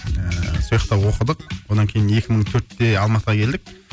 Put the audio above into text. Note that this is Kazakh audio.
ыыы сояқта оқыдық одан кейін екі мың төртте алматыға келдік